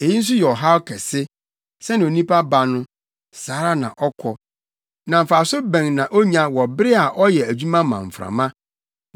Eyi nso yɛ ɔhaw kɛse: Sɛnea onipa ba no, saa ara na ɔkɔ, na mfaso bɛn na onya wɔ bere a ɔyɛ adwuma ma mframa?